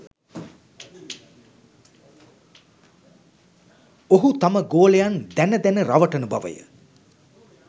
ඔහු තම ගෝලයන් දැන දැන රවටන බවය